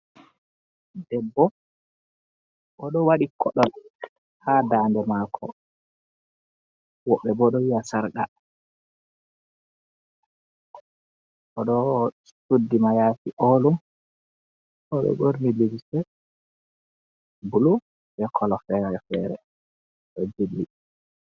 Debbo oɗo waɗi koɗol ha dande mako, woɓɓe bo ɗo wiya sarqa, oɗo suddi mayafi olum, oɗo ɓorni limse bulu be kolo fere fere ɗo jilli.